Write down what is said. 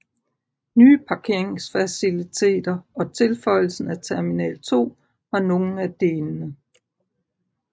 Nye parkeringsfaciliteter og tilføjelsen af Terminal 2 var nogle af delene